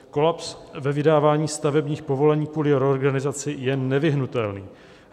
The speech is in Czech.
Kolaps ve vydávání stavebních povolení kvůli reorganizaci je nevyhnutelný.